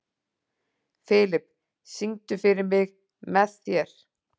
Filip, syngdu fyrir mig „Með þér“.